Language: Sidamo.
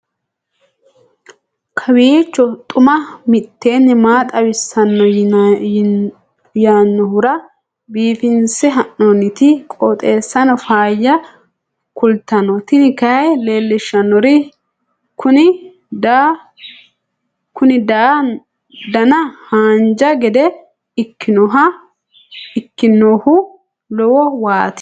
kowiicho xuma mtini maa xawissanno yaannohura biifinse haa'noonniti qooxeessano faayya kultanno tini kayi leellishshannori kuni dana haanja gede ikkinohu lowo waati